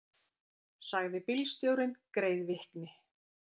sagði bílstjórinn greiðvikni.